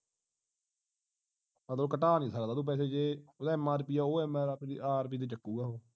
ਉਦੋਂ ਘਟਣਾ ਨਹੀਂ ਸਕਦਾ ਤੂੰ ਪੈਸੇ ਓਹਦਾ ਜੇ mrp ਆ ਉਹ mrp ਆ mrp ਤੇ ਚਕੋਰਾ ਉਹ